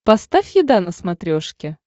поставь еда на смотрешке